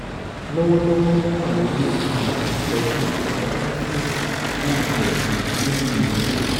lọ́wọ́lọ́wọ́ wọ́n wà lórí um ìtọ́jú dayalísíìsì fún ọ̀sẹ̀ um méjì méjì